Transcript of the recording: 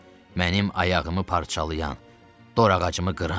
Mənim ayağımı parçalayan, dor ağacımı qıran.